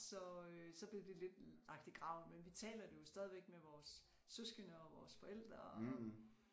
Så øh så blev det lidt lagt i graven men vi taler det jo stadigvæk med vores søskende og vores forældre og